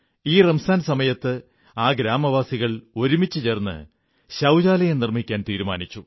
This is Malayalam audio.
ഈ റംസാൻ സമയത്ത് ആ ഗ്രാമവാസികൾ ഒരുമിച്ചു ചേർന്ന് ശൌചാലയം നിർമ്മിക്കാൻ തീരുമാനിച്ചു